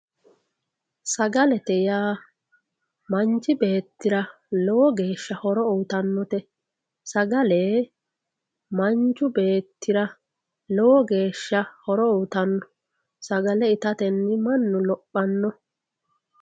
sagalete yaa manchu beettira lowo geeshsha horo uyiitannote sagale manchu beettira lowo geeshsha horo uyiitanno sagale itatenni mannu lophanno.